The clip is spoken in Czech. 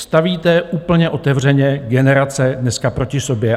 Stavíte úplně otevřeně generace dneska proti sobě.